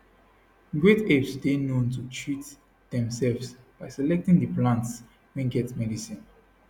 great apes dey known to treat demsefs by selecting di plants wey get medicine